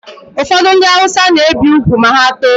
Ụfọdụ ndị awụsa na-ebi ugwu ma ha too